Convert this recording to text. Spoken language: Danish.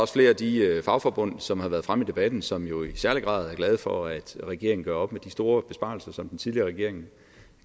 flere af de fagforbund som har været fremme i debatten som jo i særlig grad er glade for at regeringen gør op med de store besparelser som den tidligere regering